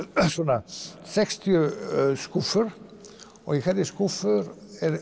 svona sextíu skúffur og í hverri skúffu